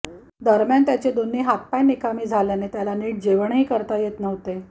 दरम्यान त्याचे दोन्ही हात आणि पाय निकामी झाल्याने त्याला निट जेवणही करता येत नव्हते